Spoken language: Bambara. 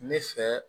Ne fɛ